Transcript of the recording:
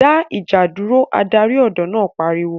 dá ìjà dúró' Adarí ọ̀dọ́ náà pariwo